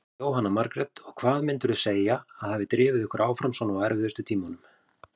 Jóhanna Margrét: Og hvað myndirðu segja að hafi drifið ykkur áfram svona á erfiðustu tímunum?